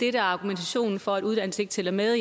er argumentationen for at uddannelse ikke tæller med